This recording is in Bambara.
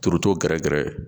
Turuto gɛrɛgɛrɛ